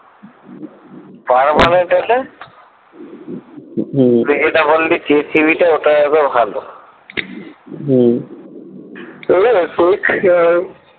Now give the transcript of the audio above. permanent আছে হম এটা বলি জি টিভিটা ওটা একদম ভালো হম